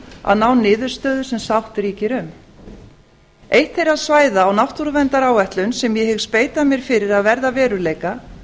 að ná niðurstöðu sem sátt ríkir um eitt þeirra svæða á náttúruverndaráætlun sem ég hyggst beita mér fyrir að verði að veruleika